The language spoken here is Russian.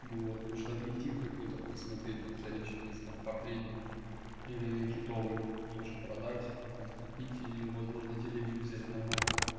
ну вот может объектив какой-то посмотреть на вторичке есть там портретник или ракитовый тоже продать подкопить и возможно телевизор взять нормально